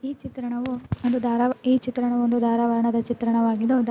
ಈ ಚಿತ್ರಣವು ಒಂದು ಈ ಚಿತ್ರಣವು ಒಂದು ಧಾರವಾಡದ ಚಿತ್ರಣವಾಗಿದ್ದು --